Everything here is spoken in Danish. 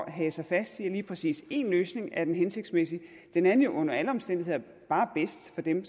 hage sig fast i at lige præcis én løsning er den hensigtsmæssige den er jo under alle omstændigheder bare bedst for dem